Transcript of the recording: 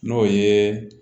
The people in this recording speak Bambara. N'o ye